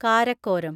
Karakoram